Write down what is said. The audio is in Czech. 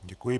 Děkuji.